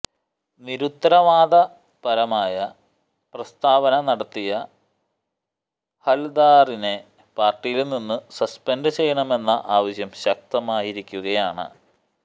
നിരുത്തരവാദപരമായ പ്രസ്താവന നടത്തിയ ഹല്ദാറിനെ പാര്ട്ടിയില് നിന്ന് സസ്പെന്ഡ് ചെയ്യണമെന്ന ആവശ്യം ശക്തമായിരിക്കുകയാണ്